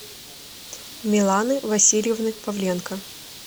миланы васильевны павленко